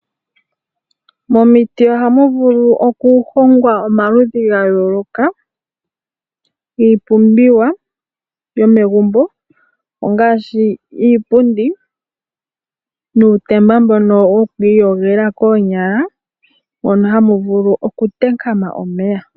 Momiti ohamu vulu okuhongwa omaludhi gayooloka giipumbiwa yomegumbo ngaashi iipundi nuutemba mbono woku iyogela koonyala mono hamu vulu okukankama omeya.